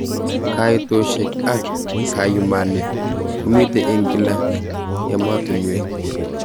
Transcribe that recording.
Kaitoshek ak kayumet komitei eng kila ematunwek.